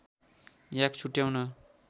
याक छुट्याउन